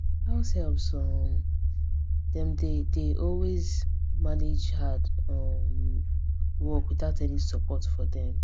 househelps um dem dey dey always manage hard um work without any support for dem